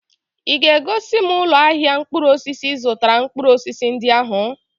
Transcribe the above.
Ị ga-egosi m ụlọ ahịa mkpụrụ osisi ị zụtara mkpụrụ osisi ndị ahụ?